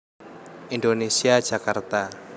Indonesia Jakarta